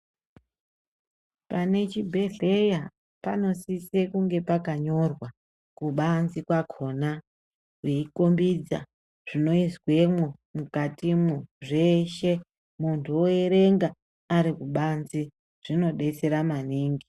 Pane chibhedhlera panosise kunge pakanyorwa kubanze pakona veikumbidza zvinoizwemwo mukatimwo zveshe muntu oerenga arikubanze zvinobetsera maningi .